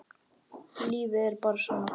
Lífið er bara svona.